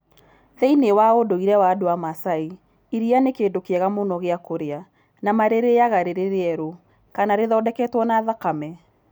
Thĩinĩ wa ũndũire wa andũ a Masai, iria nĩ kĩndũ kĩega mũno gĩa kũrĩa, na marĩrĩĩaga rĩrĩ rĩerũ, kana rĩthondeketwo na thakame.